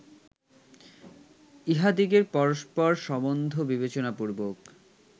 ইঁহাদিগের পরস্পর সম্বন্ধ বিবেচনাপূর্বক